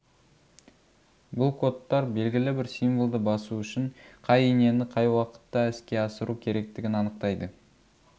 бұл кодтар белгілі бір символды басу үшін қай инені қай уақытта іске асыру керектігін анықтайды